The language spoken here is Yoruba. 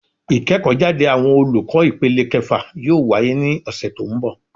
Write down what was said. Ìkéèkó jáde àwọn olùkó ìpele kefà yóò wáyé ní òsè tí ó n bò